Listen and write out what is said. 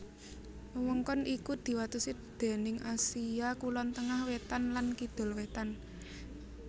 Wewengkon iki diwatesi déning Asia Kulon Tengah Wétan lan Kidul Wétan